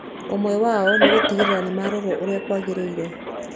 Ũmwe wao nĩ gũtigĩrĩra nĩ marorwo ũrĩa kwagĩrĩire.